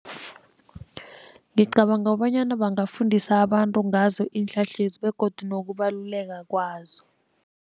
Ngicabanga kobanyana bangafundiswa abantu ngazo iinhlahlezi begodu nokubaluleka kwazo.